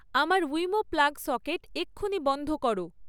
আমার Wemo plug socket এক্ষুণি বন্ধ করো